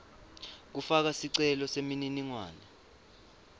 kufaka sicelo semininingwane